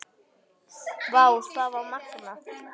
Vá, það var magnað.